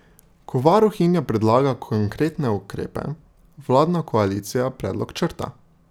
Ko varuhinja predlaga konkretne ukrepe, vladna koalicija predlog črta.